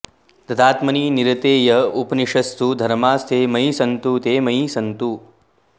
तदात्मनि निरते य उपनिषत्सु धर्मास्ते मयि सन्तु ते मयि सन्तु